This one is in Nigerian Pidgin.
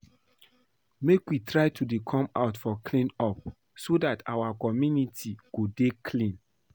Make we try to dey come out for clean up so dat our community go dey clean